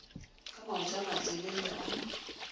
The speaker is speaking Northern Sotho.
ka maoto a matelele a